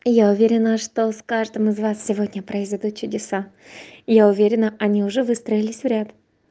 я уверена что с каждым из вас сегодня произойдут чудеса я уверенно они уже выстроились в ряд